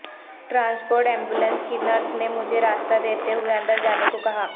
transport ambulance کی nurse نے مجھے راستہ دیتے ہوئے اندر جانے کو کہا